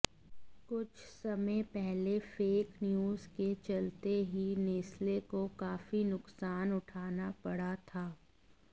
कुछ समय पहले फेक न्यूज के चलते ही नेस्ले को काफी नुकसान उठाना पड़ा था